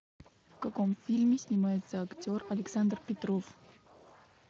в каком фильме снимается актер александр петров